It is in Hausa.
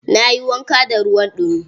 Na yi wanka da ruwan ɗumi.